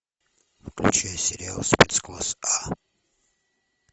включай сериал спецкласс а